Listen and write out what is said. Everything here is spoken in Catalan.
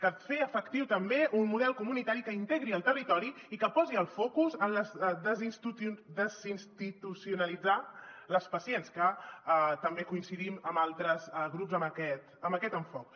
cal fer efectiu també un model comunitari que integri el territori i que posi el focus en desinstitucionalitzar les pacients que també coincidim amb altres grups en aquest enfocament